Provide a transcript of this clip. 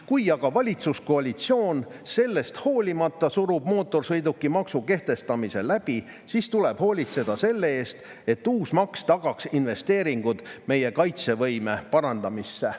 Kui aga valitsuskoalitsioon sellest hoolimata surub mootorsõidukimaksu kehtestamise läbi, siis tuleb hoolitseda selle eest, et uus maks tagaks investeeringud meie kaitsevõime parandamisse.